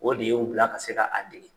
O de y'u bila ka se ka a dege.